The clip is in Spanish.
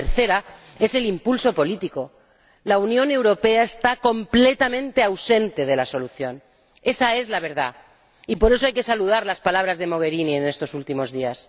y la tercera es el impulso político. La Unión Europea está completamente ausente de la solución, esa es la verdad, y por eso hay que saludar las palabras de la señora Mogherini en estos últimos días.